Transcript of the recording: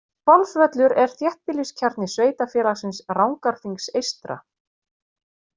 Hvolsvöllur er þéttbýliskjarni sveitarfélagsins Rangárþings eystra.